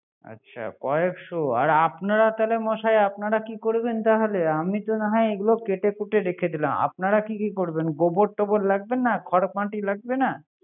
আচ্ছা কয়েকশ আর আপনারা তাহলে মশায় আপনারা কি করবেন তাহালে আমি তো না হয় এগুলো কেটে কুটে রেখে দিলাম। গোবর টোবর লাগবে না, খড় মাটি লাগবে না